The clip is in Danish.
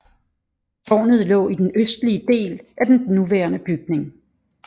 Tårnet lå i den østlige del af den nuværende bygning